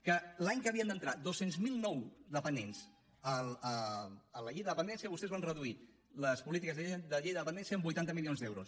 que l’any que havien d’entrar dos cents miler nous dependents a la llei de dependència vostès van reduir les polítiques de la llei de la dependència en vuitanta milions d’euros